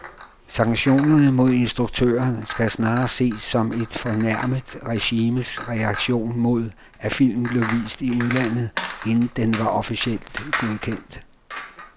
Sanktionerne mod instruktøren skal snarere ses som et fornærmet regimes reaktion mod, at filmen blev vist i udlandet, inden den var officielt godkendt.